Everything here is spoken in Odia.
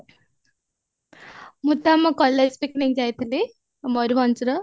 ମୁଁ ତ ଆମ college picnic ଯାଇଥିଲି ମୟୂରଭଞ୍ଜର